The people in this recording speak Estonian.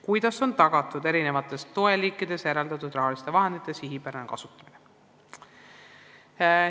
Kuidas on tagatud erinevateks toeliikideks eraldatud rahaliste vahendite sihipärane kasutamine?